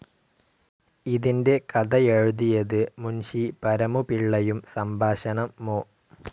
ഇതിൻ്റെ കഥ എഴുതിയത് മുൻഷി പരമു പിള്ളയും സംഭാഷണം മു.